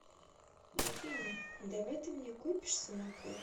афина давай ты мне купишь самокат